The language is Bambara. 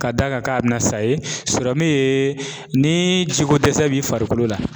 Ka d'a kan k'a bɛna sa ye sɔrɔmu ye ni jiko dɛsɛ b'i farikolo la.